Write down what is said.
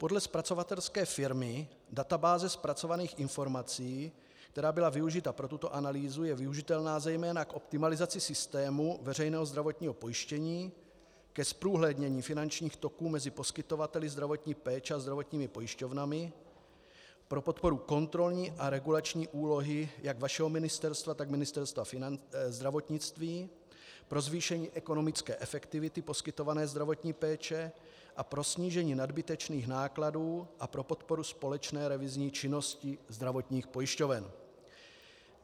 Podle zpracovatelské firmy databáze zpracovaných informací, která byla využita pro tuto analýzu, je využitelná zejména k optimalizaci systému veřejného zdravotního pojištění, ke zprůhlednění finančních toků mezi poskytovateli zdravotní péče a zdravotními pojišťovnami, pro podporu kontrolní a regulační úlohy jak vašeho ministerstva, tak Ministerstva zdravotnictví, pro zvýšení ekonomické efektivity poskytované zdravotní péče a pro snížení nadbytečných nákladů a pro podporu společné revizní činnosti zdravotních pojišťoven.